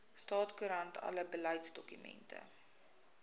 staatskoerant alle beleidsdokumente